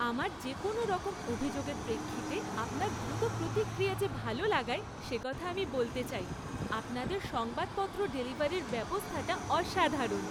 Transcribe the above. আমার যে কোনওরকম অভিযোগের প্রেক্ষিতে আপনার দ্রুত প্রতিক্রিয়া যে ভালা লাগায়, সে কথা আমি বলতে চাই। আপনাদের সংবাদপত্র ডেলিভারির ব্যবস্থাটা অসাধারণ।